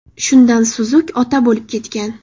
Shundan Suzuk ota bo‘lib ketgan.